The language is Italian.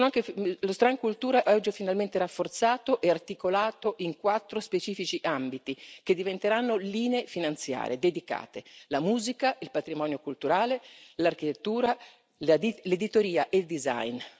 Il settore dedicato alla cultura è oggi finalmente rafforzato e articolato in quattro specifici ambiti, che diventeranno linee finanziare dedicate la musica, il patrimonio culturale, l'architettura, l'editoria e il design.